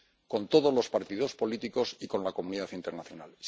con todos los partidos políticos y con la comunidad internacional.